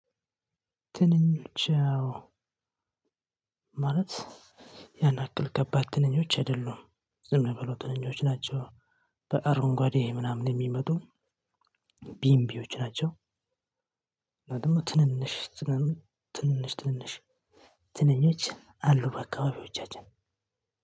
ትንኞች ያው ማለት ያንያክል ከባድ ትንኞች አይደሉም ዝምብሎ ትንኞች ናቸው በአረንጓዴ ምናምን የሚመጡ ቢምቢዎች ናቸው። ደግሞ ትንንሽ ትንንሽ ትንንሽ ትንንሽ ትንኞች አሉ በአካባቢዎቻችን።